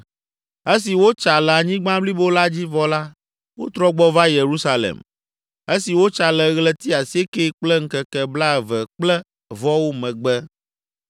Esi wotsa le anyigba blibo la dzi vɔ la, wotrɔ gbɔ va Yerusalem, esi wotsa le ɣleti asiekɛ kple ŋkeke blaeve kple vɔwo megbe.